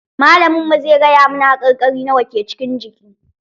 Malamin mu zai gaya mana haƙarƙari nawa ke cikin jiki